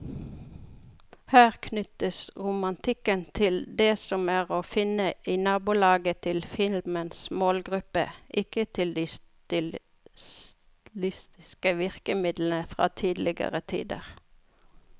Her knyttes romantikken til det som er å finne i nabolaget til filmens målgruppe, ikke til de stilistiske virkemidlene fra tidligere tider.